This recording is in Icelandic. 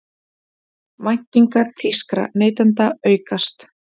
Væntingar þýskra neytenda aukast